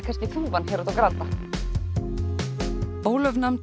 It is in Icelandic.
kannski þúfan hér úti á Granda Ólöf nam